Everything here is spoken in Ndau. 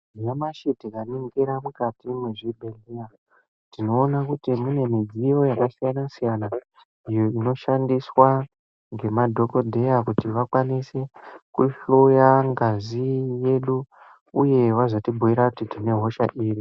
Nyamashi tikaningira mukati mwezvibhehleya tinoona kuti mune midziyo yakasiyana siyana iyo inoshandiswa ngemadhokodheya kuti vakwanise kuhloya ngazi yedu uye vazotibhuira kuti tine hosha iri.